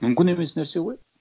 мүмкін емес нәрсе ғой